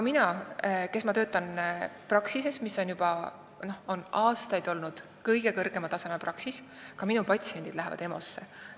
Mina töötan praksises, mis on juba aastaid olnud kõige kõrgema taseme praksis, aga ka minu patsiendid lähevad EMO-sse.